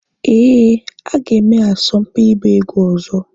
Ee, ha ga-eme asọmpi ịgba egwu ọzọ